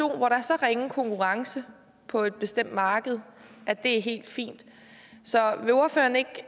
er så ringe konkurrence på et bestemt marked er helt fint så vil ordføreren ikke